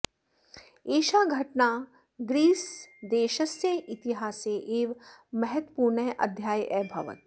एषा घटना ग्रीस्देशस्य इतिहासे एव महत्वपूर्णः अध्यायः अभवत्